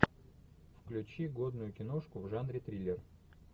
включи годную киношку в жанре триллер